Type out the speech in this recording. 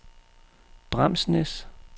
Bramsnæs